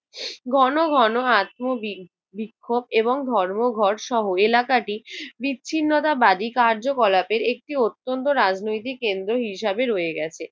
ঘন ঘন heart moving বিক্ষোভ এবং ধর্মঘটসহ এলাকাটি বিচ্ছিন্নতাবাদী কার্যকলাপের একটি অত্যন্ত রাজনৈতিক কেন্দ্র হিসেবে রয়ে গেছে।